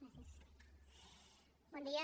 bon dia